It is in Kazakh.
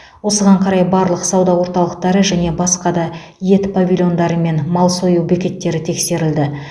осыған қарай барлық сауда орталықтары және басқа да ет павильондары мен мал сою бекеттері тексерілді